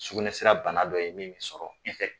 Sugunɛsira bana dɔ ye min bɛ sɔrɔ